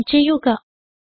run ചെയ്യുക